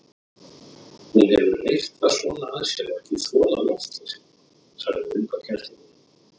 Hún hefur reyrt það svona að sér og ekki þolað loftleysið, sagði unga kennslukonan.